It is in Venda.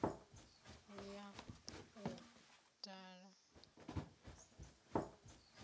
ḓiimiselaho u ya u dala